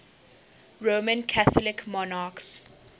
roman catholic monarchs